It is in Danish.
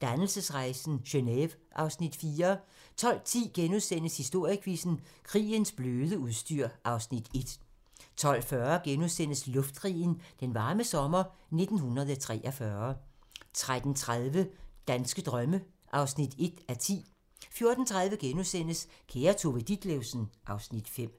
Dannelsesrejsen - Geneve (Afs. 4) 12:10: Historiequizzen: Krigens bløde udstyr (Afs. 1)* 12:40: Luftkrigen – Den varme sommer 1943 * 13:30: Danske drømme (1:10) 14:30: Kære Tove Ditlevsen (Afs. 5)*